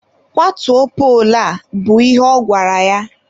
Kwatuo poolu a! bụ ihe ọ gwara ya.